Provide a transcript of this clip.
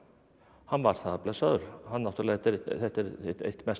hann var það blessaður þetta er eitt mesta